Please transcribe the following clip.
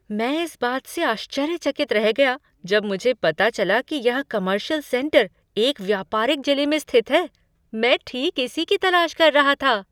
मैं इस बात से आश्चर्यचकित रह गया जब मुझे पता चला कि यह कॉमर्शियल सेंटर एक व्यापारिक जिले में स्थित है। मैं ठीक इसी की तलाश कर रहा था।